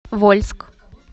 вольск